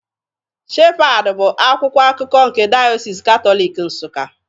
Shepad bụ akwụkwọ akụkọ nke Dayọsis Katọlik Nsuka